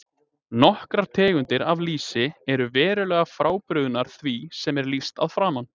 Nokkrar tegundir af lýsi eru verulega frábrugðnar því sem er lýst að framan.